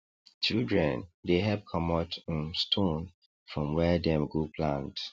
children dey help comot um stone from where dem go plant